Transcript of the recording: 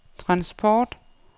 transport